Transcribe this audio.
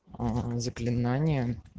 угу заклинание